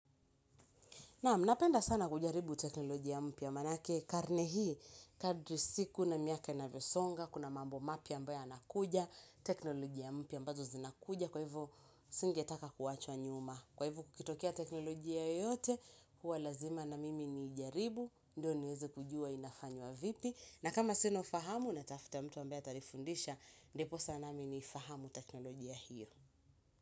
Naam napenda sana kujaribu teknolojia mpya, manake karne hii, kadri siku na miaka inavyosonga, kuna mambo mapya ambayo yanakuja, teknolojia mpya ambazo zinakuja, kwa hivo singetaka kuachwa nyuma. Kwa hivo kukitokea teknolojia yoyote, huwa lazima na mimi ni ijaribu, ndio niweze kujua inafanywa vipi. Na kama sina ufahamu, natafuta mtu ambaye atanifundisha, ndiposa nami ni fahamu teknolojia hiyo.